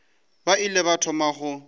ba ile ba thoma go